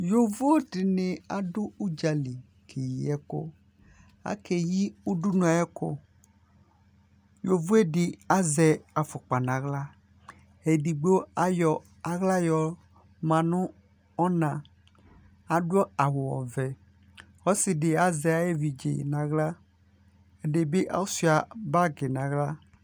Yovo dɩnɩ adʋ ʋdza li kʋ akeyi ɛkʋ Akeyi udunu ayʋ ɛkʋ Yovo yɛ dɩ azɛ afʋkpa nʋ aɣla Edigbo ayɔ aɣla yɔma nʋ ɔna, adʋ awʋ ɔvɛ Ɔsɩ azɛ ayʋ evidze dɩ nʋ aɣla, ɛdɩ asʋɩa bagɩ nʋ aɣla